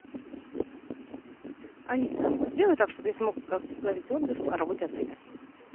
алиса сделай так чтобы я смог оставить отзыв о работе отеля